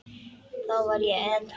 Þá var ég edrú.